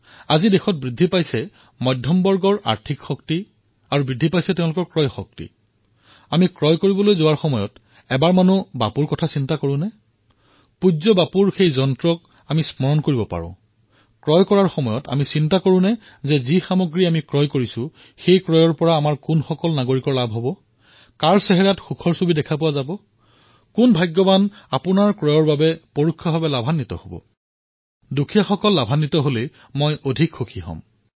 আজি দেশত বৃদ্ধি হোৱা মধ্যবিত্ত তেওঁলোকৰ বৃদ্ধি হোৱা আৰ্থিক প্ৰগতি বৃদ্ধি হোৱা ক্ৰয় ক্ষমতা আমি কিবা ক্ৰয় কৰিবলৈ গলে সামান্য সময়ৰ বাবেও বাপুক স্মৰণ কৰোঁ নেকি পূজ্য বাপুৰ সেই মন্ত্ৰফাঁকিৰ কথা স্মৰণ কৰিব পাৰে আমি কিবা ক্ৰয় কৰাৰ সময়ত এই কথা চিন্তা কৰোঁনে ইয়াৰ পৰা দেশৰ কোনজন নাগৰিকৰ লাভ হব কাৰ চেহেৰাত সন্তোষে দেখা দিব কোন ভাগ্যশালী হব যাৰ আপোনাৰ ক্ৰয়ৰ দ্বাৰা প্ৰত্যক্ষ অথবা পৰোক্ষভাৱে লাভ হব আৰু দৰিদ্ৰতকৈ দৰিদ্ৰতমৰ লাভ হলে মই অধিক সুখী হম